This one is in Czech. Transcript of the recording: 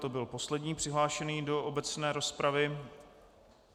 To byl poslední přihlášený do obecné rozpravy.